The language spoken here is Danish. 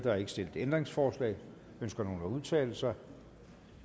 er ikke stillet ændringsforslag ønsker nogen at udtale sig